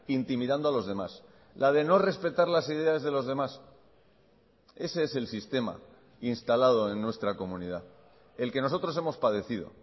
intimidando a los demás la de no respetar las ideas de los demás ese es el sistema instalado en nuestra comunidad el que nosotros hemos padecido